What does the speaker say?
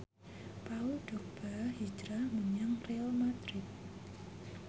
Paul Dogba hijrah menyang Real madrid